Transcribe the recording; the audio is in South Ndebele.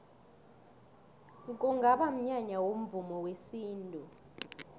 kungaba mnyanya womvumo wesintu